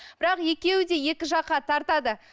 бірақ екеуі де екі жаққа тартады